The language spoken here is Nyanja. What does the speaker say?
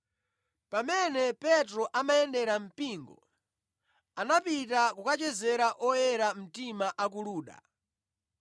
Pamene Petro amayendera mpingo, anapita kukachezera oyera mtima a ku Luda.